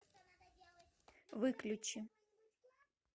выключи